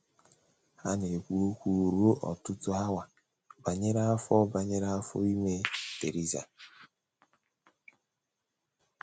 Ha na - ekwu okwu ruo ọtụtụ awa banyere afọ banyere afọ ime Theresa.